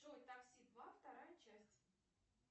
джой такси два вторая часть